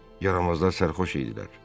Yaramazlar sərxoş idilər.